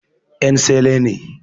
En sele ne